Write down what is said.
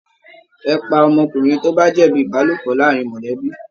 Ẹ̀ pá ọmọkùnrin tí o ba jẹbi ìbálòpọ̀ láàrín mọlẹbi!